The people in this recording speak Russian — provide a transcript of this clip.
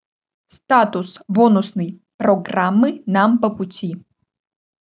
статус бонусной программы нам по пути